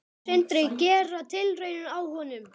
Sindri: Gera tilraun á honum?